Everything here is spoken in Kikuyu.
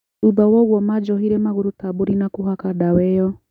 Thutha woguo manjohire magũrũ ta mbũrĩ na kũhaka ndawa ĩyo